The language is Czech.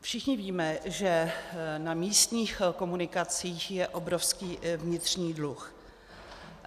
Všichni víme, že na místních komunikacích je obrovský vnitřní dluh.